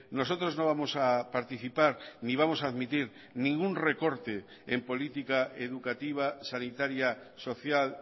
nosotros no vamos a participar ni vamos a admitir ningún recorte en política educativa sanitaria social